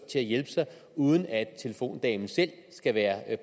uden at telefondamen selv skal være